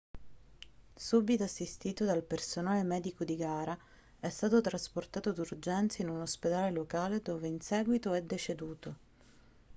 subito assistito dal personale medico di gara è stato trasportato d'urgenza in un ospedale locale dove in seguito è deceduto